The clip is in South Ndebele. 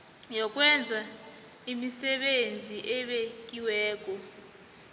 yokwenza imisebenzi ebekiweko